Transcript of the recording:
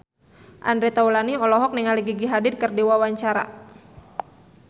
Andre Taulany olohok ningali Gigi Hadid keur diwawancara